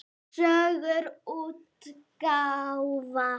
Sögur útgáfa.